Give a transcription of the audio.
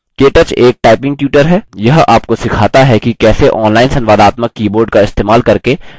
केteaches एक typing tutor है यह आपको सिखाता है कि कैसे online संवादात्मक keyboard का इस्तेमाल करके type करें